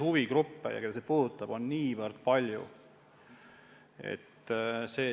Huvigruppe, keda see puudutab, on niivõrd palju.